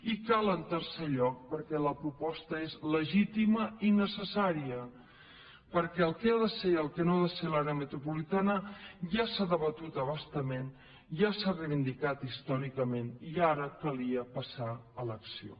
i cal en tercer lloc perquè la proposta és legítima i necessària perquè el que ha de ser i el que no ha de ser l’àrea metropolitana ja s’ha debatut a bastament ja s’ha reivindicat històricament i ara calia passar a l’acció